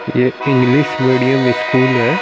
ये English medium school है।